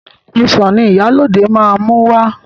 Ọsàn ni Ìyálóde máa mú wá.